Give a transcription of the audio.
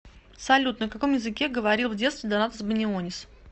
салют на каком языке говорил в детстве донатас банионис